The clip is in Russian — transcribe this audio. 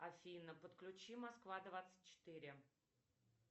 афина подключи москва двадцать четыре